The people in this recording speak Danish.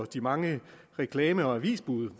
de mange reklame og avisbude